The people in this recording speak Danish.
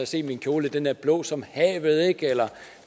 se min kjole den er blå som havet eller